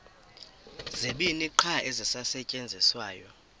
zibini qha ezisasetyenziswayo